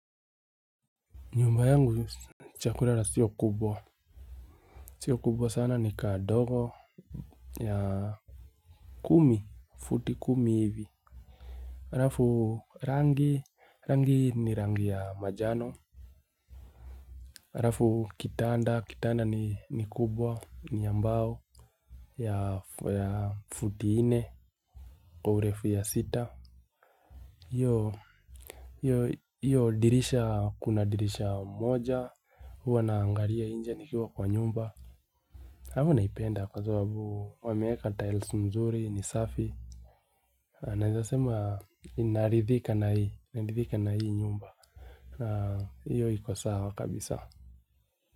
Nyumba yangu cha kulala sio kubwa. Sio kubwa sana ni kadogo ya futi kumi hivi. Alafu rangi, rangi ni rangi ya majano. Alafu kitanda, kitanda ni kubwa ni ya mbao ya futi nne kwa urefu ya sita. Hiyo dirisha, kuna dirisha moja. Huwa naangalia nje nikiwa kwa nyumba. Alafu naipenda kwa sababu wameweka taili mzuri ni safi naweza sema naridhika na hii nyumba hiyo iko sawa kabisa.